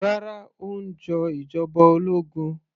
Rárá, ó ń jọ ìjọba ológun